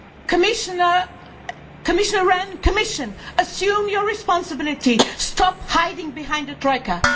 Commissioner Rehn, Commission, assume your responsibility, stop hiding behind the Troika.